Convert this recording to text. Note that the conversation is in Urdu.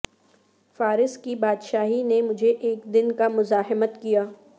فارس کی بادشاہی نے مجھے ایک دن کا مزاحمت کیا